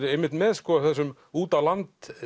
einmitt með þessum út á land